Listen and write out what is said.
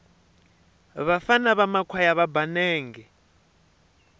vafana va makhwaya va ba nenge